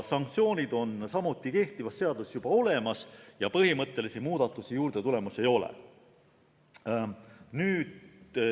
Sanktsioonid on kehtivas seaduses juba olemas ja põhimõttelisi muudatusi juurde tulemas ei ole.